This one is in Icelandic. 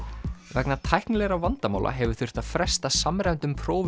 vegna tæknilegra vandamála hefur þurft að fresta samræmdum prófum